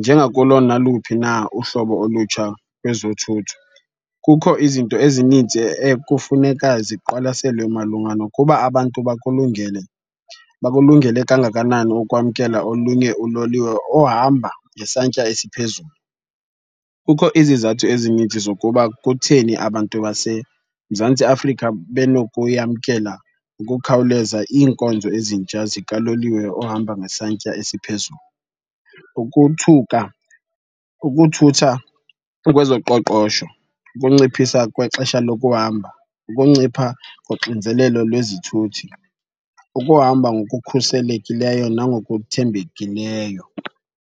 Njengakulo naluphi na uhlobo olutsha kwezothutho, kukho izinto ezininzi ekufuneka ziqwalaselwe malunga nokuba abantu bakulungele, bakulungele kangakanani ukwamkela olunye uloliwe ohamba ngesantya esiphezulu. Kukho izizathu ezininzi zokuba kutheni abantu baseMzantsi Afrika benokuyamkela ngokukhawuleza iinkonzo ezintsha zikaloliwe ohamba ngesantya esiphezulu. Ukothuka, ukuthutha kwezoqoqosho, ukunciphisa kwexesha lokuhamba, ukuncipha koxinzelelo lwezithuthi, ukuhamba ngokukhuselekileyo nangokuthembekileyo.